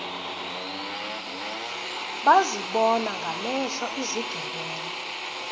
bazibona ngamehlo izigebenga